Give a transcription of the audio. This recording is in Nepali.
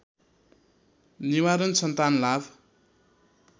निवारण सन्तान लाभ